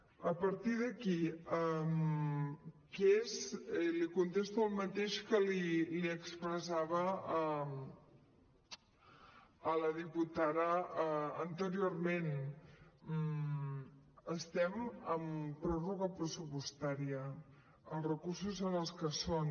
a partir d’aquí li contesto el mateix que li expressava a la diputada anteriorment estem en pròrroga pressupostària els recursos són els que són